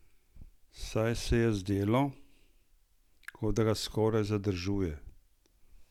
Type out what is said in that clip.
Saj se je zdelo, kot da ga skoraj zadržuje!